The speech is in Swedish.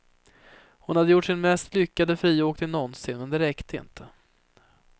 Hon hade gjort sin mest lyckade friåkning någonsin, men det räckte inte.